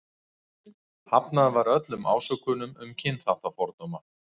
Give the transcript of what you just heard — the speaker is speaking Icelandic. Hafnað var öllum ásökunum um kynþáttafordóma.